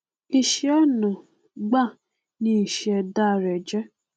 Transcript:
ìṣẹ ọnà gbáà ni ìṣẹdá rẹ jẹ